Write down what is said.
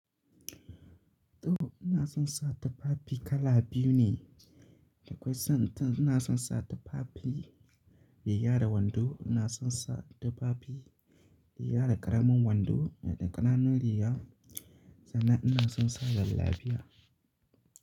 To ina son sa tufafi kala biyu ne. Akwai san ina son sa tufafi mai riga wando, ina son sa tufafi mai raga da ƙaramin wando da ƙananan riga, sannan ina son sa jallabiya.